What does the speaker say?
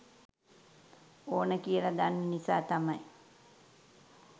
ඕන කියල දන්න නිසා තමයි